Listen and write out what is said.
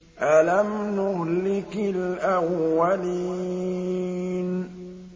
أَلَمْ نُهْلِكِ الْأَوَّلِينَ